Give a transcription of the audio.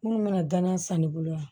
Minnu bɛna gana san ne bolo yan